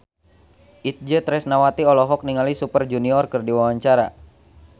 Itje Tresnawati olohok ningali Super Junior keur diwawancara